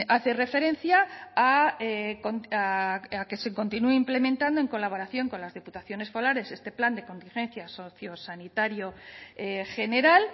hace referencia a que se continúe implementando en colaboración con las diputaciones forales este plan de contingencia sociosanitario general